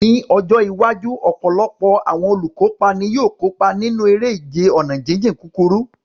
Ní ọjọ́ iwájú, ọ̀pọ̀lọpọ̀ àwọn olùkópa ni yóò kópa nínú eré ìje ọ̀nà jíjìn kúkúrú.